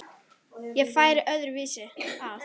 Ég færi öðru vísi að.